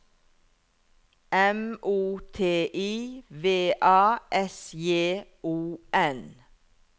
M O T I V A S J O N